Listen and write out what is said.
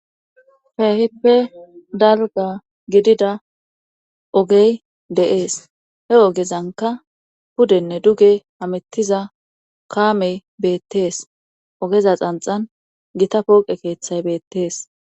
Feehippe dalga gidida ogey de'ees he ogezanka pudenne duge hamettiza kaamey beettees ogeza xanxan gita pooqe keeththay beettees.